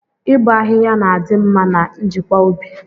Ị bọ ahịhịa na-adị mma na njikwa ubi.